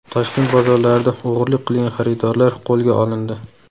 Toshkent bozorlarida o‘g‘rilik qilgan xaridorlar qo‘lga olindi.